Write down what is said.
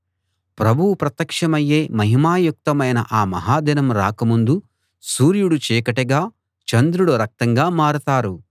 ప్రభువు ప్రత్యక్షమయ్యే మహిమాయుక్తమైన ఆ మహాదినం రాక ముందు సూర్యుడు చీకటిగా చంద్రుడు రక్తంగా మారతారు